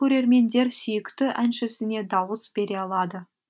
көрермендер сүйікті әншісіне дауыс бере алады